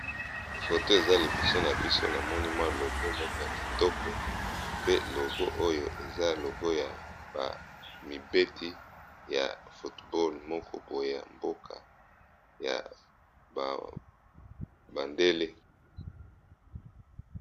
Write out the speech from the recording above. Foto eza liboso na biso na moni mwa logo moko ya kitoko, pe logo oyo eza logo ya ba mibeti ya foot ball moko boye ya mboka ya bandele.